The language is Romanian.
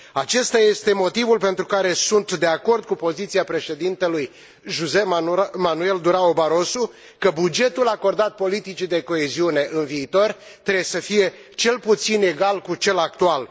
Acesta este motivul pentru care sunt de acord cu poziția președintelui José Manuel Durão Barroso că bugetul acordat politicii de coeziune în viitor trebuie să fie cel puțin egal cu cel actual.